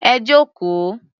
Ẹ jókòó.